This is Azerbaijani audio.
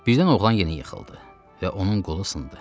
Birdən oğlan yenə yıxıldı və onun qolu sındı.